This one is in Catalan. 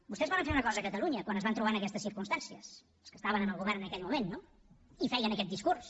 vostès varen fer una cosa a catalunya quan es van trobar en aquestes circumstàncies els que estaven en el govern en aquell moment no i feien aquest discurs